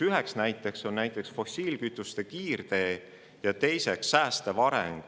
Üks viiest alusstsenaariumist on fossiilkütuste kiirtee ja teine säästev areng.